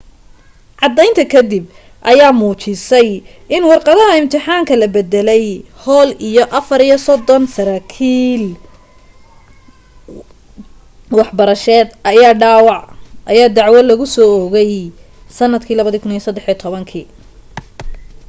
caddaynta ka dib ayaa muujisay in warqadaha imtixaanka la bedelay hall iyo 34 saraakiil waxbarashadeed ayaa dacwo lagusoo oogay sanadkii 2013